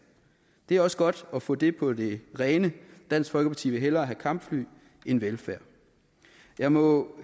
det er også godt at få det på det rene dansk folkeparti vil hellere have kampfly end velfærd jeg må